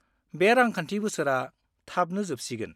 बे रांखान्थि बोसोरा थाबनो जोबसिगोन।